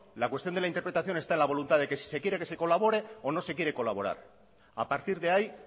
la cuestión de la interpretación está en la voluntad de que si se quiere que se colabore o no se quiere colaborar a partir de ahí